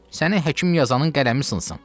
Səni həkim yazanın qələmi sınsın.